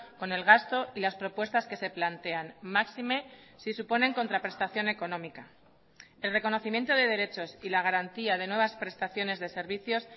con el gasto y las propuestas que se plantean máxime si suponen contraprestación económica el reconocimiento de derechos y la garantía de nuevas prestaciones de servicios